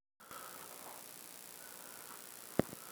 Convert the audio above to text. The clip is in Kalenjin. kiinde chicho logoywek eng bik chemachei